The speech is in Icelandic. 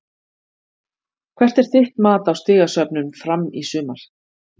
Hvert er þitt mat á stigasöfnun Fram í sumar?